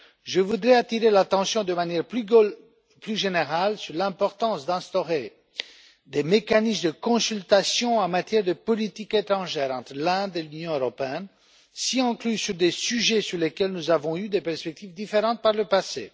Je voudrais attirer l'attention de manière plus générale sur l'importance d'instaurer des mécanismes de consultation en matière de politique étrangère entre l'Inde et l'Union européenne, y compris sur des sujets sur lesquels nous avons eu des perspectives différentes par le passé.